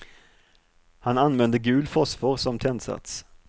Han använde gul fosfor som tändsats.